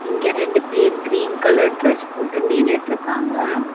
இங்க ரெண்டு பேர் கிரீன் கலர் டிரஸ் போட்டு நின்னுட்ருக்காங்க.